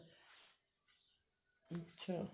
ਅੱਛਾ